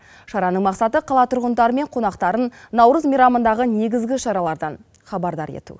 шараның мақсаты қала тұрғындары мен қонақтарын наурыз мейрамындағы негізгі шаралардан хабардар ету